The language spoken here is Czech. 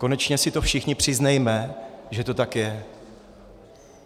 Konečně si to všichni přiznejme, že to tak je.